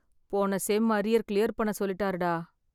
போன sem arrear clear பண்ண சொல்லிட்டாருடா.